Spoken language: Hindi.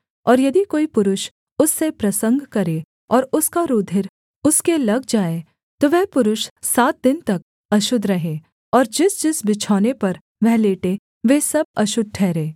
और यदि कोई पुरुष उससे प्रसंग करे और उसका रूधिर उसके लग जाए तो वह पुरुष सात दिन तक अशुद्ध रहे और जिसजिस बिछौने पर वह लेटे वे सब अशुद्ध ठहरें